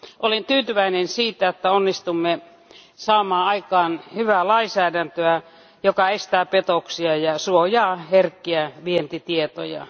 Olen tyytyväinen, että onnistuimme saamaan aikaan hyvää lainsäädäntöä, joka estää petoksia ja suojaa herkkiä vientitietoja.